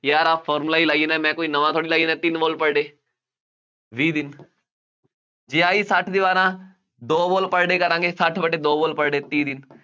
ਯਾਰ ਆਹ formula ਹੀ ਲਾਈ ਜਾਂਦਾ, ਮੈਂ ਕੋਈ ਨਵਾਂ ਥੋੜ੍ਹੀ ਲਾਈ ਜਾਂਦਾ, ਤਿੰਂਨ wall per day, ਵੀਹ ਦਿਨ ਜੇ ਆਹੀ ਸੱਠ ਦੀਵਾਰਾਂ ਦੋ wall per day ਕਰਾਂਗੇ, ਸੱਠ ਵਟਾ ਦੋ wall per day ਤੀਹ ਦਿਨ,